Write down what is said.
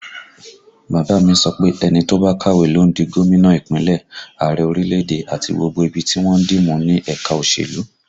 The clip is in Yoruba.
Bàbá a mi sọ pé ẹni tó bá kàwé ló ń di gómìnà Ìpínlẹ̀, Ààrẹ orílẹ̀èdè, àti gbogbo ibi tí wọ́n ń dì mú ní ẹ̀ka òṣèlú